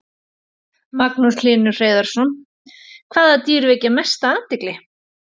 Magnús Hlynur Hreiðarsson: Hvaða dýr vekja mesta athygli?